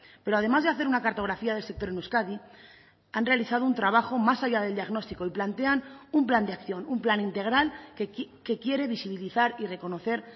pero además de hacer una cartografía del sector en euskadi han realizado un trabajo más allá del diagnóstico y plantean un plan de acción un plan integral que quiere visibilizar y reconocer